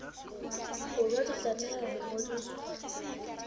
borwa di tlameha ho ngodiswa